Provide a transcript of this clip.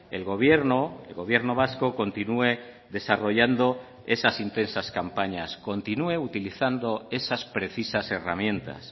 el gobierno el gobierno vasco continúe desarrollando esas intensas campañas continúe utilizando esas precisas herramientas